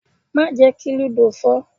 Má jẹ́ kí lúdò fọ́!